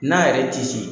N'a yɛrɛ tisi